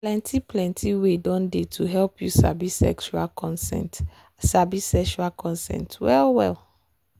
plenty plenty way don dey to help you sabi sexual consent sabi sexual consent well well.